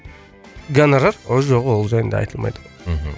гонорар ол жоқ ол жайында айтылмайды ғой мхм